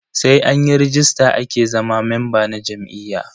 Sai anyi ragista ake zama memba na jam'iyya.